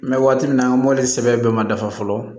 N bɛ waati min na mɔbili sɛbɛn bɛɛ ma dafa fɔlɔ